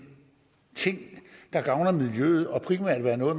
ting der gavner miljøet og primært er noget